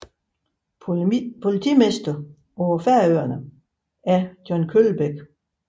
Politimester på Færøerne er John Kølbæk